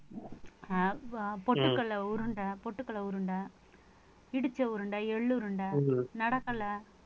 அஹ் பொ~ பொட்டுக்கடலை உருண்டை, பொட்டுக்கடலை உருண்டை இடிச்ச உருண்டை, எள்ளு உருண்டை,